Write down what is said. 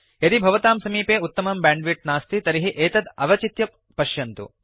यदि भवतां समीपे उत्तमं बैण्डविड्थ नास्ति तर्हि एतत् अवचित्य पश्यन्तु